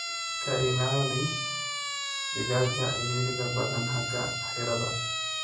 Ka ilaali digaaga ciriiriga badhan xaga xiradhaa.